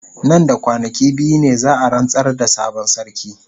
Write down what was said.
Nan da kwanaki biyu ne za a rantsar da sabon sarki.